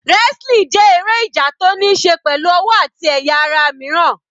Wrestling jẹ́ eré ìjà tó níí ṣe pẹ̀lú ọwọ́ àti àwọn ẹ̀yà ara míràn.